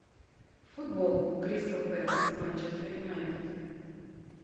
футбол кристал пэлас манчестер юнайтед